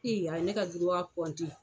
Ee , a ye ne ka